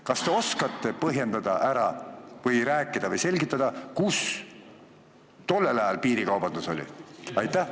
Kas te oskate põhjendada või selgitada, kus tollel ajal piirikaubandus oli?